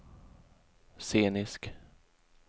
scenisk